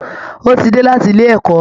Ó ti dé láti ilé ẹ̀kọ́